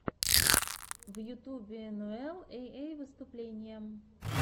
в ютубе энуэл эй эй выступление